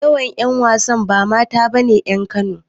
Most of the female actors are not indigenes of Kano.